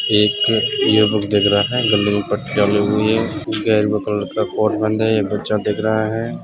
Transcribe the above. एक यह दिख रहा है। गले में पट्टिया लगी हुई है। ये बच्चा दिख रहा है।